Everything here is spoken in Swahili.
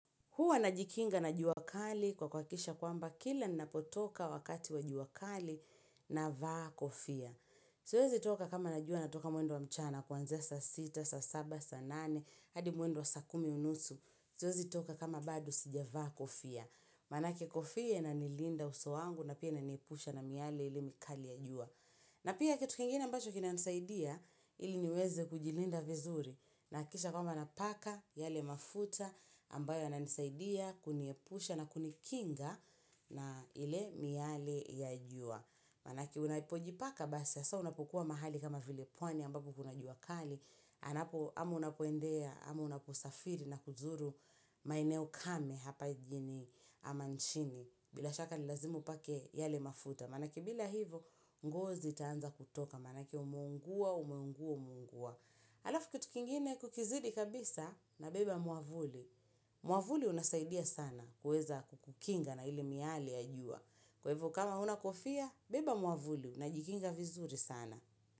Huwa najikinga na jua kali kwa kuhakikisha kwamba kila ninapotoka wakati wa jua kali navaa kofia. Siwezi toka kama najua natoka mwendo wa mchana kuanzia saa sita, saa saba, saa nane, hadi mwendo wa saa kumi unusu. Siwezi toka kama bado sijavaa kofia. Maanake kofia inanilinda uso wangu na pia inaniepusha na miale ile mikali ya jua. Na pia kitu kingine ambacho kinanisaidia ili niweze kujilinda vizuri. Nahakikisha kwamba napaka yale mafuta ambayo yananisaidia, kuniepusha na kunikinga na ile miale ya jua. Maanake unapojipaka basi hasa unapokuwa mahali kama vile pwani ambako kuna jua kali. Anapo ama unapoendea, ama unaposafiri na kuzuru maeneo kame hapa jijini ama nchini. Bila shaka ni lazima upake yale mafuta. Maanake bila hivo ngozi itaanza kutoka. Maanake umeungua, umeungua, umeungua. Alafu kitu kingine kukizidi kabisa, nabeba mwavuli. Mwavuli unasaidia sana kuweza kukukinga na ile miale ya jua. Kwa hivyo kama huna kofia, beba mwavuli unajikinga vizuri sana.